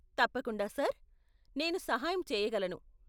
తప్పకుండా సార్, నేను సహాయం చేయగలను.